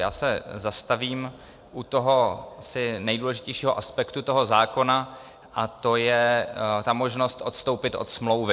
Já se zastavím u toho asi nejdůležitějšího aspektu toho zákona, a to je ta možnost odstoupit od smlouvy.